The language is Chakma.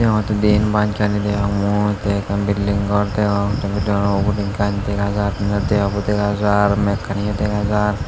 ah ubot he diyen bach gari degong mui te ekkan bilding gor degong te gorano ugure gach dega jaar inni deabo yo dega jaar mekkaniyo degajar.